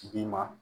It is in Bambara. Bi ma